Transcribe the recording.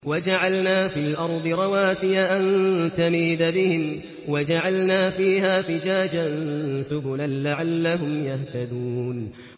وَجَعَلْنَا فِي الْأَرْضِ رَوَاسِيَ أَن تَمِيدَ بِهِمْ وَجَعَلْنَا فِيهَا فِجَاجًا سُبُلًا لَّعَلَّهُمْ يَهْتَدُونَ